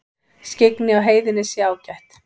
Skyggni á heiðinni sé ágætt